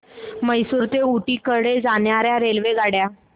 म्हैसूर ते ऊटी कडे जाणार्या रेल्वेगाड्या